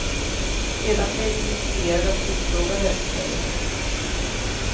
Sedan blev vi visiterade och utfrågade, säger hon.